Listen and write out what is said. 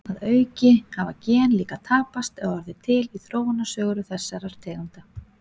Að auki hafa gen líka tapast eða orðið til í þróunarsögu þessara tegunda.